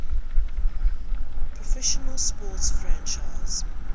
professional sports franchise